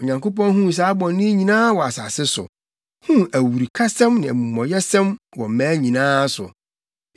Onyankopɔn huu saa bɔne yi nyinaa wɔ asase so, huu awurukasɛm ne amumɔyɛsɛm wɔ mmaa nyinaa nso.